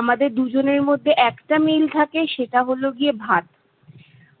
আমাদের দুজনের মধ্যে একটা মিল থাকে সেটা হলো গিয়ে ভাত।